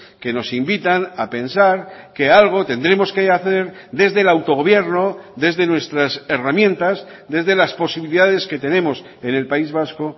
que nos invitan a pensar que algo tendremos que hacer desde el autogobierno desde nuestras herramientas desde las posibilidades que tenemos en el país vasco